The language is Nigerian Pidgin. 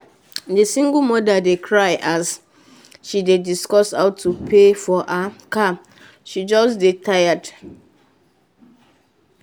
the single mother dey cry as she dey discuss how to pay for her car she just dey tired